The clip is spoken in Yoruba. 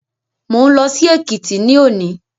Mo ń lọ sí Èkìtì ní òní